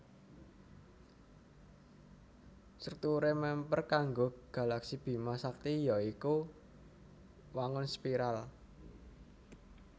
Strukturé mèmper karo galaksi Bima Sakti ya iku wangun spiral